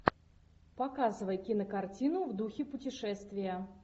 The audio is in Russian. показывай кинокартину в духе путешествия